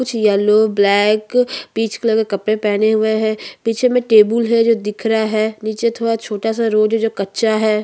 कुछ yellow black peach colour के कपड़े पहने हुए है पीछे में टेबूल है जो दिख रहा है नीचे थोड़ा छोटा सा रोड है जो कच्चा है।